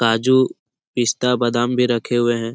काजू पिस्ता बादाम भी रखे हुए हैं।